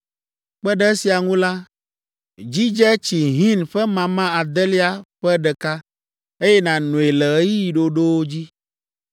Kpe ɖe esia ŋu la, dzidze tsi hin ƒe mama adelia ƒe ɖeka, eye nànoe le ɣeyiɣi ɖoɖowo dzi.